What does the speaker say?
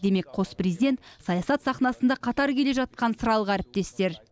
демек қос президент саясат сахнасында қатар келе жатқан сыралғы әріптестер